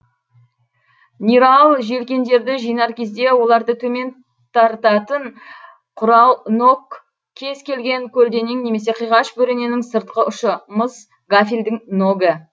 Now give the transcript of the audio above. нирал желкендерді жинар кезде оларды төмен тартатын құрал нок кез келген көлденең немесе қиғаш бөрененің сыртқы ұшы мыс гафельдің ногі